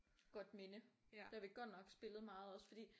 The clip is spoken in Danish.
Godt minde det har vi godt nok spillet meget også fordi